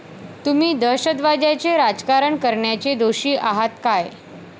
तुम्ही दहशतवाद्याचे राजकारण करण्याचे दोषी आहात काय?